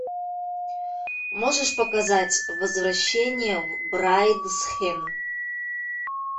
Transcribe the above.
можешь показать возвращение в брайдсхед